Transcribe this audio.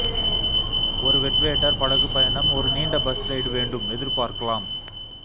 ஒரு வெட்வேட்டர் படகு பயணம் ஒரு நீண்ட பஸ் ரைடு வேண்டும் எதிர்பார்க்கலாம்